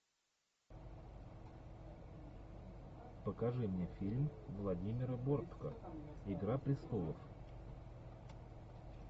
покажи мне фильм владимира бортко игра престолов